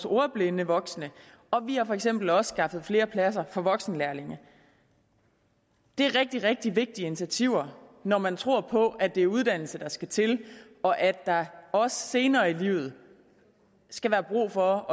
ordblinde voksne og vi har for eksempel også skaffet flere pladser voksenlærlinge det er rigtig rigtig vigtige initiativer når man tror på at det er uddannelse der skal til og at der også senere i livet skal være brug for